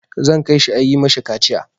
Zan kai shi a yi ma shi kaciya.